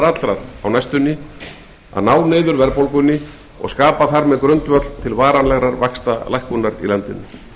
að ná niður verðbólgu á næstu mánuðum og skapa þar með grundvöll til varanlegrar vaxtalækkunar í landinu